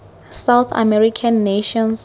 south american nations